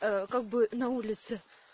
а как бы на улице